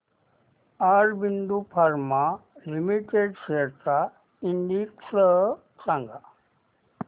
Aurobindo pharma limited shares चा index सांगा